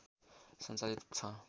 सञ्चालित छ